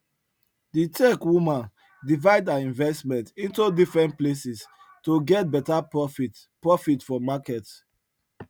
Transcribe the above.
the tech woman divide her investment into different places to get better profit profit from market